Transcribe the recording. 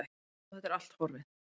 Og þetta er allt horfið.